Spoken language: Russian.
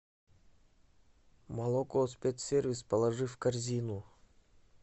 молоко спецсервис положи в корзину